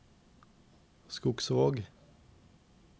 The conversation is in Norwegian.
Skogsvåg